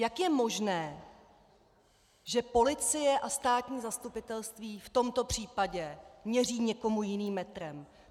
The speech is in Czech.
Jak je možné, že policie a státní zastupitelství v tomto případě měří někomu jiným metrem?